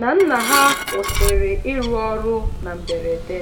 na nna ha kwụsịrị ịrụ ọrụ na mberede.